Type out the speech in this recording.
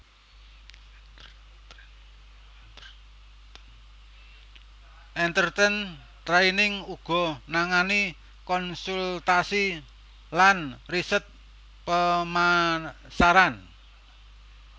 EnterTrend Training uga nangani konsultasi lan riset pemasaran